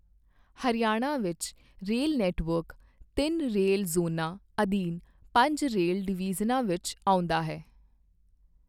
ਹਰਿਆਣਾ ਵਿੱਚ rail network ਤਿੰਨ rail ਜ਼ੋਨਾਂ ਅਧੀਨ ਪੰਜ ਰੇਲ ਡਿਵੀਜ਼ਨਾਂ ਵਿੱਚ ਆਉਂਦਾ ਹੈ।